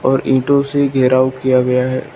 और ईंटों से घेराव किया गया है।